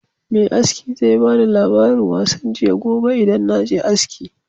Me aski zan bani labarin wasan jiya gobe idan naje aski